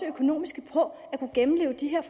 økonomiske på at gennemleve de her